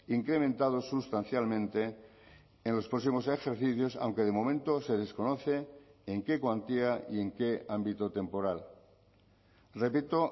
incrementados sustancialmente en los próximos ejercicios aunque de momento se desconoce en qué cuantía y en qué ámbito temporal repito